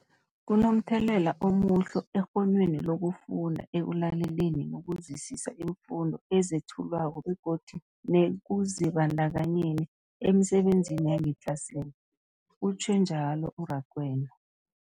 Kunomthelela omuhle ekghonweni lokufunda, ekulaleleni nokuzwisiswa iimfundo ezethulwako begodu nekuzibandakanyeni emisebenzini yangetlasini, utjhwe njalo u-Rakwena.